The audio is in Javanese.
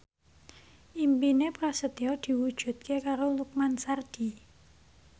impine Prasetyo diwujudke karo Lukman Sardi